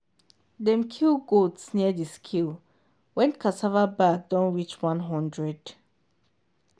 dem kill goat near the scale when cassava bag don reach one hundred.